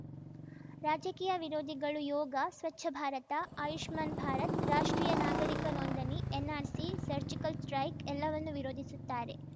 ರಾಜಕೀಯ ವಿರೋಧಿಗಳು ಯೋಗ ಸ್ವಚ್ಛಭಾರತ ಆಯುಷ್ಮಾನ್‌ ಭಾರತ್‌ ರಾಷ್ಟ್ರೀಯ ನಾಗರಿಕ ನೋಂದಣಿ ಎನ್‌ಆರ್‌ಸಿ ಸರ್ಜಿಕಲ್‌ ಸ್ಟ್ರೈಕ್ ಎಲ್ಲವನ್ನೂ ವಿರೋಧಿಸುತ್ತಾರೆ